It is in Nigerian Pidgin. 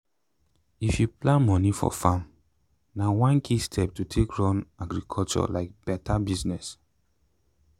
if you plan moni for farm na one key step to take run agriculture like better business.